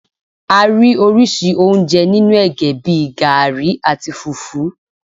A rí oríṣi oúnjẹ nínú ẹ̀gẹ́ bíi garri, àti fùfú.